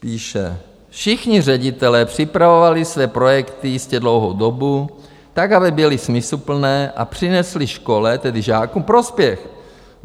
Píše: Všichni ředitelé připravovali své projekty jistě dlouhou dobu tak, aby byly smysluplné a přinesly škole, tedy žákům, prospěch.